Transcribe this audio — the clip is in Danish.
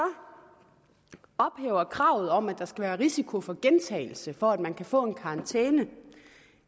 ophæver kravet om at der skal være risiko for gentagelse for at man kan få en karantæne